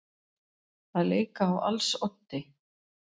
Að leika á als oddi